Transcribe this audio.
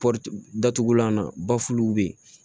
datugulan na bafuw bɛ yen